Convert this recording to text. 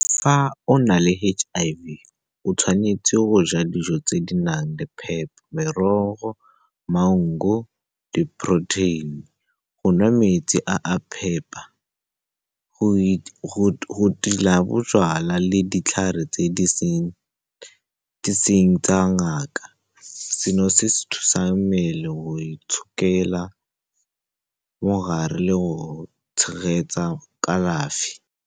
Fa o na le H_I_V, o tshwanetse go ja dijo tse di nang le phepo, merogo, maugo le protein-e, go nwa metsi a phepa, go tila bojalwa le ditlhare tse di seng tsa ngaka. Seno se thusa mmele go itshokela mogare le go tshegetsa kalafi.